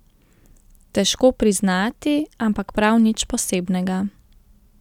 Težko priznati, ampak prav nič posebnega.